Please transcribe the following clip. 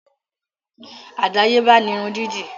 Àdáyébá ni irun dídì